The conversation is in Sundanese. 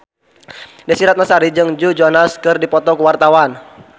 Desy Ratnasari jeung Joe Jonas keur dipoto ku wartawan